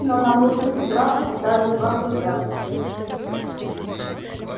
но на пути к браку вставали два препятствия